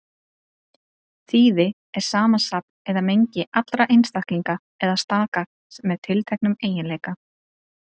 Þýði er samansafn eða mengi allra einstaklinga eða staka með tiltekna eiginleika.